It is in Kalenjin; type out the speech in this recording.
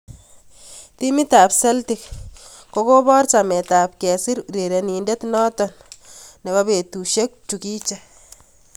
Timit ab Celtic kokobor chomet ab kesir urerenindet noto ab betusiek chikiche.